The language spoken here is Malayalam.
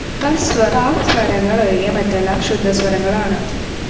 പ സ്വരങ്ങൾ ഒഴികെ മറ്റെല്ലാം ശുദ്ധസ്വരങ്ങൾ ആണ്.